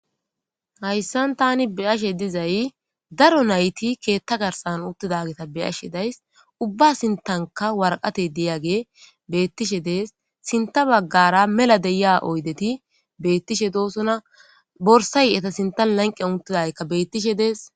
hayssan tani beyashe dizay daro nayti keetta garsan uttidageta beashe days ubba sintanka warqate diyage beettishe dees sinta baggara mela deya oydeti beettishe doosona borsay eta sintan lanqe unttidaykka beettishe dees